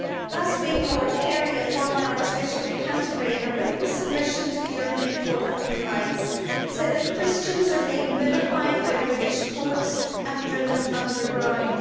Last week Lord Carey, a former Archbishop of Canterbury, said in a written submission to the European Court of Human Rights that Christians are being vilified by the British courts and driven underground.